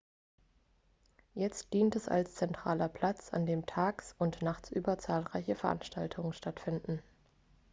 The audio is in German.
jetzt dient es als zentraler platz an dem tags und nachtsüber zahlreiche veranstaltungen stattfinden